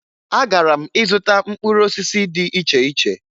Agara m ịzụta mkpụrụ osisi dị iche iche